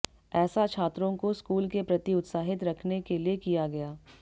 ऐसा छात्रों को स्कूल के प्रति उत्साहित रखने के लिए किया गया